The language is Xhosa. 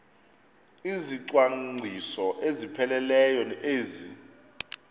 izicwangciso ezipheleleyo ezi